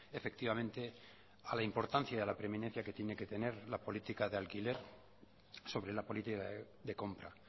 efectivamente a la importancia a la preeminencia que tiene que tener la política de alquiler sobre la política de compra